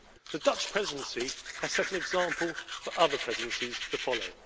The Dutch Presidency has set an example for other Presidencies to follow.